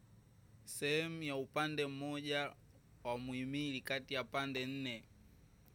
Sehemu ya upande mmoja wa muimili kati ya pande nne.